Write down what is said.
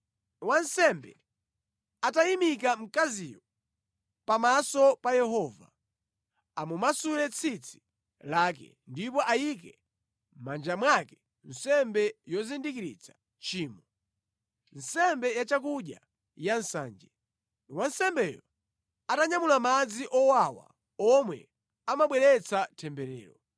Wansembe atayimika mkaziyo pamaso pa Yehova, amumasule tsitsi lake, ndipo ayike mʼmanja mwake nsembe yozindikiritsa tchimo, nsembe yachakudya ya nsanje, wansembeyo atanyamula madzi owawa omwe amabweretsa temberero.’